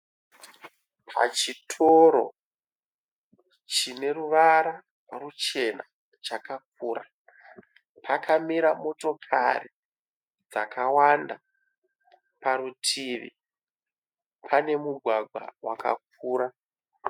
Pachitoro chine ruvara ruchena chakakura. Pakamira motokari dzakawanda. Parutivi pane mugwagwa wakakura.